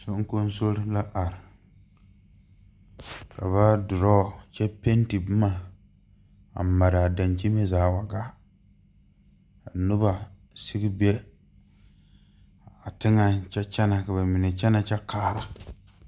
Soŋkosoro la are ka ba dorɔɔ kyɛ penti boma a maraa daŋkyini zaa wa gaa noba sigi be a teŋaŋ kyɛ kyɛnɛ ka bamine kyɛnɛ kyɛ kaara.